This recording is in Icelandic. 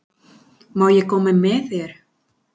Má ég koma með þér?